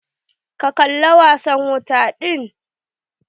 Ka kalla wasan wuta din?